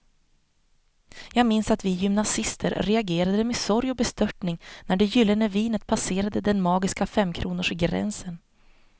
Jag minns att vi gymnasister reagerade med sorg och bestörtning när det gyllene vinet passerade den magiska femkronorsgränsen.